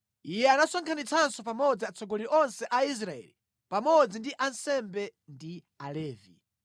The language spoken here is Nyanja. Iye anasonkhanitsanso pamodzi atsogoleri onse a Israeli, pamodzi ndi ansembe ndi Alevi.